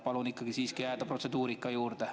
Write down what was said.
Palun ikkagi siiski jääda protseduurika juurde.